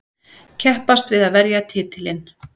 Keppast við að verja titilinn.